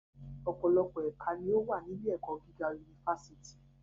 Ọ̀pọ̀lọpọ̀ ẹ̀ka ni ó wà ní ilé - ẹ̀kọ́ gíga unifásítì